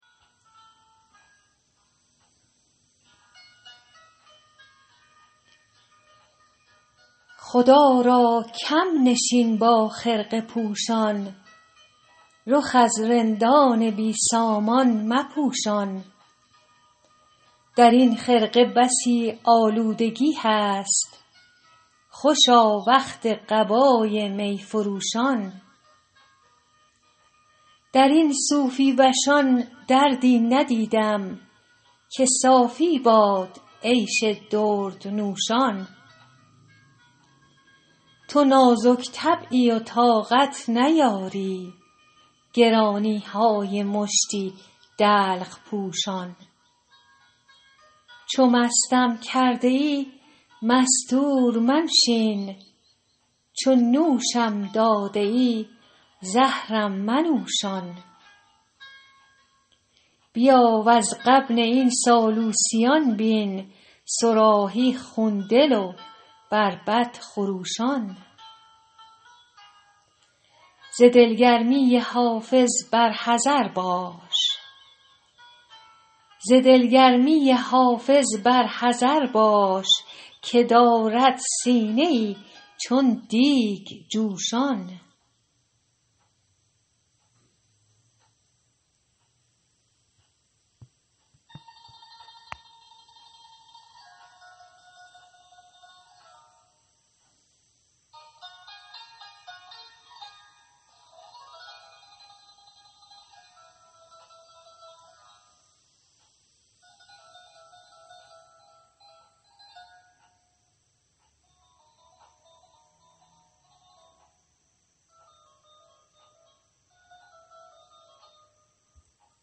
خدا را کم نشین با خرقه پوشان رخ از رندان بی سامان مپوشان در این خرقه بسی آلودگی هست خوشا وقت قبای می فروشان در این صوفی وشان دردی ندیدم که صافی باد عیش دردنوشان تو نازک طبعی و طاقت نیاری گرانی های مشتی دلق پوشان چو مستم کرده ای مستور منشین چو نوشم داده ای زهرم منوشان بیا وز غبن این سالوسیان بین صراحی خون دل و بربط خروشان ز دلگرمی حافظ بر حذر باش که دارد سینه ای چون دیگ جوشان